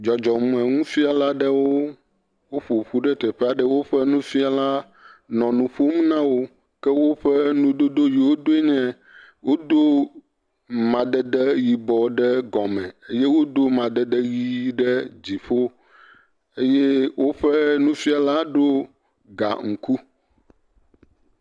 Dzɔdzɔmenufiala aɖewo ƒoƒu ɖe teƒe aɖe eye woƒe nufiala le nu ƒom na wo. Ke woƒe nudodo si wodo nye wodo amadede yibɔ ɖe gɔme eye wodo amadede ʋi ɖe dziƒo eye woƒe nufiala do ga ŋku.